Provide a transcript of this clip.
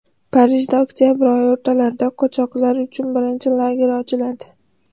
Parijda oktabr oyi o‘rtalarida qochoqlar uchun birinchi lager ochiladi.